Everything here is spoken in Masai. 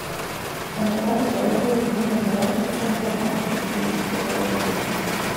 Eneba ilpayek ootumi tenkata enkisampuare aashu esiana olpayek pookin.